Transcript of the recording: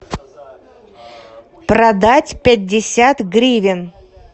продать пятьдесят гривен